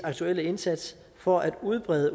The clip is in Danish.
aktuelle indsats for at udbrede